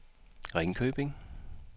Ringkøbing